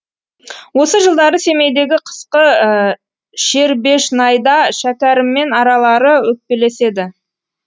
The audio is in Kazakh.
осы жылдары семейдегі қысқы шербешнайда шәкәріммен аралары өкпелеседі